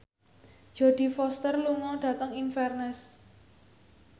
Jodie Foster lunga dhateng Inverness